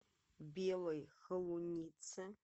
белой холунице